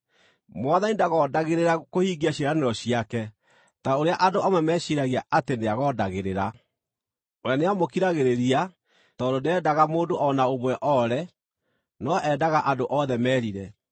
Mwathani ndagondagĩrĩra kũhingia ciĩranĩro ciake, ta ũrĩa andũ amwe meciiragia atĩ nĩagondagĩrĩra. We nĩamũkiragĩrĩria, tondũ ndendaga mũndũ o na ũmwe oore, no endaga andũ othe merire.